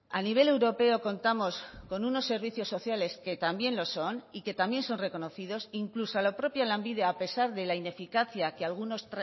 a nivel europeo contamos con unos servicios sociales que también lo son y que también son reconocidos incluso a la propia lanbide a pesar de la ineficacia que algunos